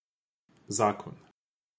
Zakon.